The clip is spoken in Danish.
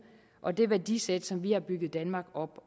og det værdisæt som vi har bygget danmark op